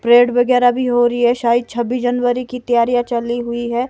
Prayed वगैरह भी हो रही है शायद छब्बीस जनवरी की तैयारी चल रही हुई है।